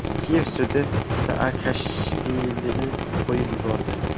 Kiyev sudi Saakashvilini qo‘yib yubordi.